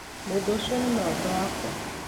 mũndũ ũcio nĩ mũrata wakwa